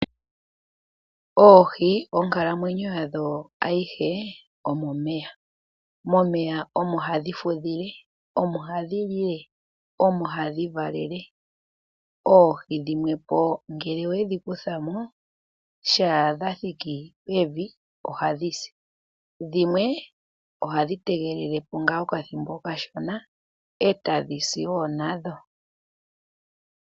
Oohi onkalamwenyo yadho ayihe omomeya, momeya omo hadhi fudhile. Omo hadhi lile, omo hadhi valele. Oohi dhimwepo ngele owedhi kutha mo shaadha thiki pevi oha dhisi, dhimwe ohadhi tegele po ngaa okathibo okashona e tadhisi wo nadho.